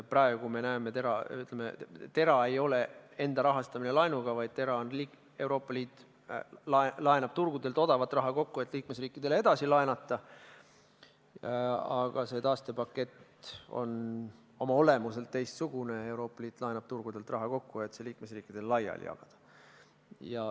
Praegu me näeme, et TERA ei ole enda rahastamine laenuga, vaid Euroopa Liit laenab turgudelt odavat raha kokku, et liikmesriikidele edasi laenata, aga see taastepakett on oma olemuselt teistsugune: Euroopa Liit laenab turgudelt raha kokku, et see liikmesriikidele laiali jagada.